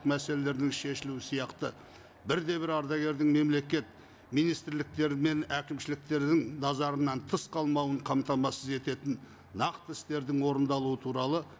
мәселелердің шешілуі сияқты бір де бір ардагердің мемлекет министрліктері мен әкімшіліктердің назарынан тыс қалмауын қамтамасыз ететін нақты істердің орындалуы туралы